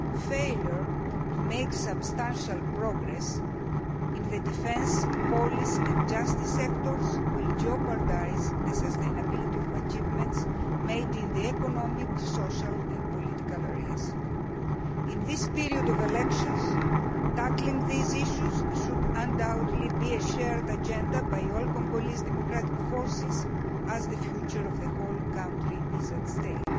Failure to make substantial progress in the defence, police and justice sectors will jeopardise the sustainability of achievements made in the economic, social and political areas. In this period of elections, tackling these issues should undoubtedly be an agenda shared by all Congolese democratic forces, as the future of the whole country is at stake.